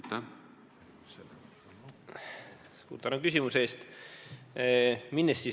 Tänan küsimuse eest!